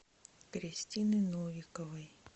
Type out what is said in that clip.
кристины новиковой